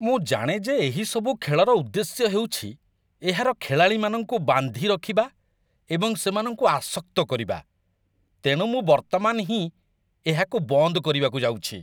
ମୁଁ ଜାଣେ ଯେ ଏହି ସବୁ ଖେଳର ଉଦ୍ଦେଶ୍ୟ ହେଉଛି ଏହାର ଖେଳାଳିମାନଙ୍କୁ ବାନ୍ଧି ରଖିବା ଏବଂ ସେମାନଙ୍କୁ ଆସକ୍ତ କରିବା, ତେଣୁ ମୁଁ ବର୍ତ୍ତମାନ ହିଁ ଏହାକୁ ବନ୍ଦ କରିବାକୁ ଯାଉଛି।